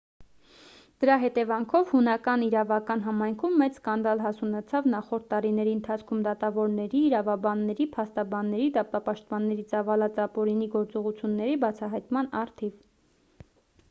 դրա հետևանքով հունական իրավական համայնքում մեծ սկանդալ հասունացավ նախորդ տարիների ընթացքում դատավորների իրավաբանների փաստաբանների դատապաշտպանների ծավալած ապօրինի գործողությունների բացահայտման առթիվ